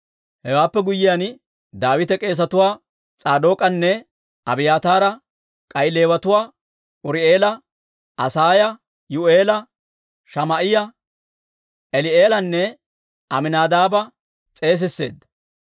Hewaappe guyyiyaan, Daawite k'eesetuwaa S'aadook'anne Abiyaataara, k'ay Leewatuwaa Uri'eela, Asaaya, Yuu'eela, Shamaa'iyaa, Eli'eelanne Aminaadaaba s'eesisseedda.